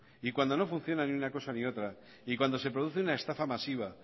y cuando no funciona ni una cosa ni la otra y cuando se produce una estafa masiva